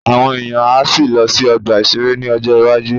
Àwọn èèyàn á sì lọ sí ọgbà-ìṣeré ní ọjọ́ iwájú